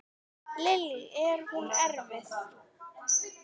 Lillý: Er hún erfið?